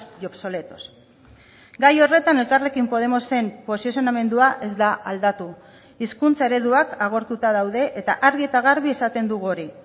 y obsoletos gai horretan elkarrekin podemosen posizionamendua ez da aldatu hizkuntza ereduak agortuta daude eta argi eta garbi esaten dugu hori